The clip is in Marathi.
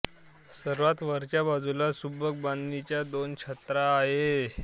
सर्वात वरच्या बाजूला सुबक बांधणीच्या दोन छत्र्या आहत